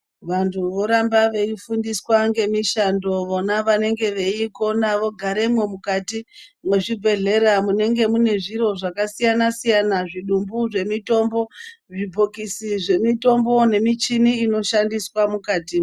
Vantu voramba veifundiswa ngemishando vona vanenge veikona vogaremwo mukati mwezvibhedhlera munenge mune zviro zvakasiyana siyana zvidumbu zvemitombo , zvibhokisi zvemitombo inoshandiswa mukati.